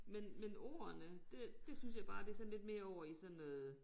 Men men ordene det det synes jeg bare det sådan lidt mere over i sådan noget